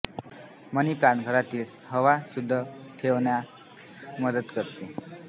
मनी plant घरातील हवा शुद्ध ठेवण्यास मदत करते